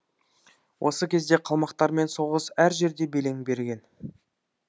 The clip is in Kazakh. ол кезде қалмақтармен соғыс әр жерде белең берген